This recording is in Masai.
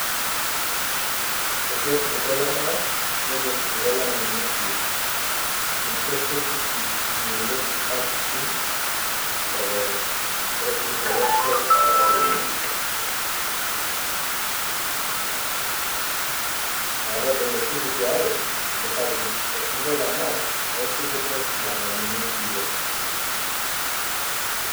There is Mau rainforest and Nimanienkiyio forest, those are the popular big known rainforests in Masailand [noise, pause] so those the most popular, the Mau and Naiminaenkiyio rainforest.